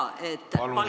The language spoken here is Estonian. Palun küsimust!